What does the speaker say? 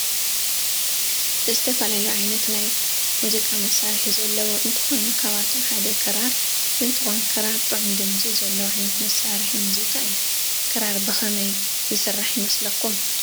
ዝተፈላለዩ ዓይነት ናይ ሙዚቃ መሳሪሒ ዘለዎ እንትኮኑ ካበአቶም ሓደ ክራራ እንትኮን ክራር ጥዑሙ ድምፂ ዘለዎ ዓይነት መሳሪሒ ሙዚቃ እዩ። ክራራ ብከምይ ዝስራሕ ይመስለኩም?